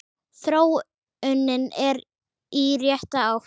Þróunin er í rétta átt.